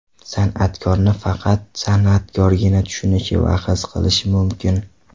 San’atkorni faqat san’atkorgina tushunishi va his qilishi mumkin.